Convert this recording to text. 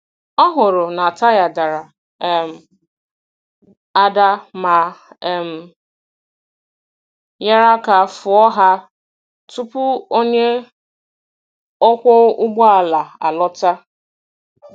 Ọ hụrụ na taya dara um ada ma um nyere aka fụọ ha tupu onye ọkwọ ụgbọ ala alọta.